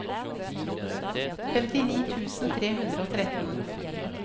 femtini tusen tre hundre og tretten